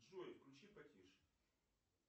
джой включи потише